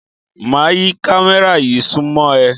Máa yí kámẹ́rà yí súnmọ́ ẹ.